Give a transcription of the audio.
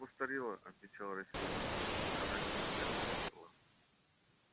как постарела отвечал рассеянно томский она семь лет как умерла